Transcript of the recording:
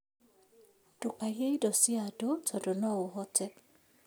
Ndũkaiye indo cia andũ tondũ noũhote